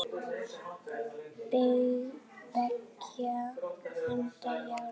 Beggja handa járn.